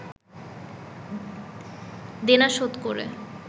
দেনা শোধ করে